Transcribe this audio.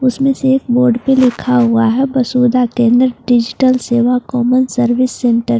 उसमें से एक बोर्ड पे लिखा हुआ है Vasudha Kendra digital Seva common service centre.